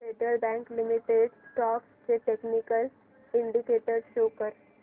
federal bank limited stocks चे technical indicators show कर